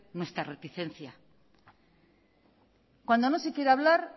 nuestra reticencia cuando no se quiere hablar